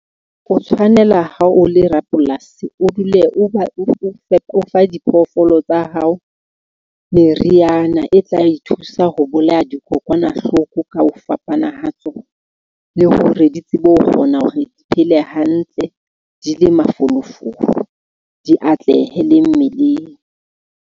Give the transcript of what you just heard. O tshwanela ha o le rapolasi, o dule o ba o fa diphoofolo tsa hao meriana e tla ithusa ho bolaya dikokwanahloko ka ho fapana ha tsona, le hore di tsebe ho kgona hore di phele hantle, di le mafolofolo, di atlehe le mmeleng.